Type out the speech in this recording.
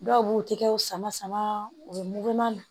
Dɔw b'u tɛgɛw sama sama u bɛ mugu ma